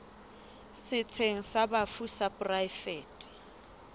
setsheng sa bafu sa poraefete